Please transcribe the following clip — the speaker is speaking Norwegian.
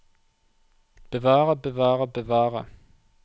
bevare bevare bevare